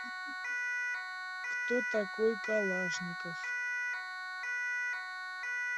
кто такой калашников